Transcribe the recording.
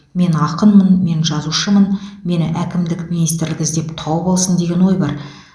мен ақынмын мен жазушымын мені әкімдік министрлік іздеп тауып алсын деген ой бар